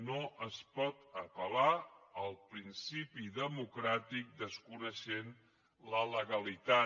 no es pot apel·lar al principi democràtic desconeixent la legalitat